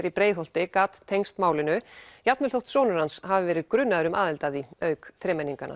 í Breiðholti gat tengst málinu jafnvel þótt sonur hans hafi verið grunaður um aðild að því auk þremenninganna